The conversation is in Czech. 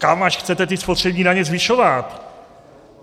Kam až chcete ty spotřební daně zvyšovat?